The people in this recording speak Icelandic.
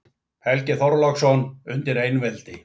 Helgi Þorláksson: Undir einveldi